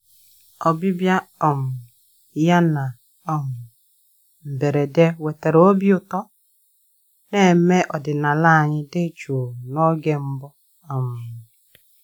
Ọbịbịa um ya na um mberede wetara obi ụtọ na ememe ọdịnala anyị dị jụụ n'oge mbu um